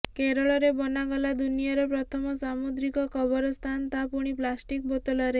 କେରଳରେ ବନାଗଲା ଦୁନିଆର ପ୍ରଥମ ସାମୁଦ୍ରିକ କବରସ୍ଥାନ ତା ପୁଣି ପ୍ଲାଷ୍ଟିକ ବୋତଲରେ